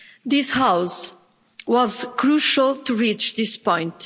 This House was crucial in reaching this point.